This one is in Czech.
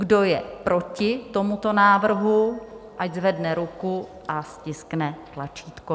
Kdo je proti tomuto návrhu, ať zvedne ruku a stiskne tlačítko.